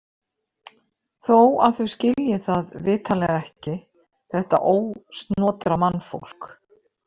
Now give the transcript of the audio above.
Þó að þau skilji það vitanlega ekki, þetta ósnotra mannfólk.